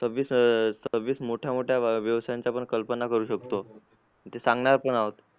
सव्विस अं सव्विस मोठ्या मोठ्या व्यवसायांच्या कल्पना करू शकतो ते सांगणार पण आहोत